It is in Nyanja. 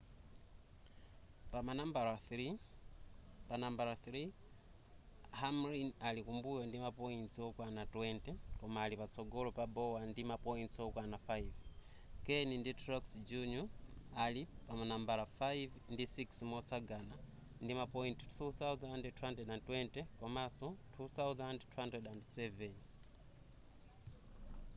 panambala 3 hamlin ali kumbuyo ndi ma points okwana 20 koma ali patsogolo pa bowyer ndi ma points okwana 5 kahne ndi truex jr ali panambala 5 ndi 6 motsagana ndima point 2,220 komanso 2,207